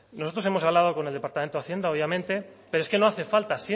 nosotros hemos hablado con el departamento de hacienda obviamente pero es que no hace falta